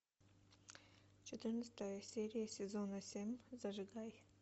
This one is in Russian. четырнадцатая серия сезона семь зажигай